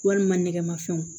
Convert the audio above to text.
Walima nɛgɛmafɛnw